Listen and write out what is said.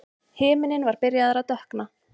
Himinninn var byrjaður að dökkna.